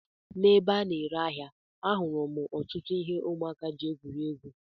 N'ebe a na-ere ahịa, ahụrụ m ọtụtụ ihe ụmụaka ji egwuri egwu.